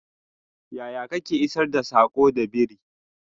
yaya Kake isar da sako da biri?